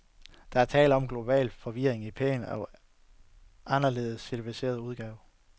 Der er tale om global forvirring i pæn og aldeles civiliseret udgave.